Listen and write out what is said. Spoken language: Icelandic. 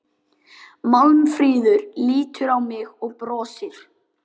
Málfríður lítur á mig og brosir.